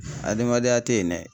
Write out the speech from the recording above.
Adamadenya tɛ yen dɛ.